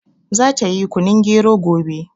Za ta yi kunun gero gobe